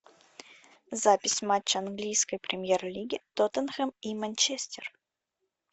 запись матча английской премьер лиги тоттенхэм и манчестер